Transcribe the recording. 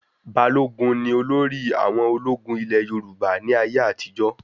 Balógun ní olórí àwọn ológun ilé Yorùbá ní ayé àtijó